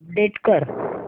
update कर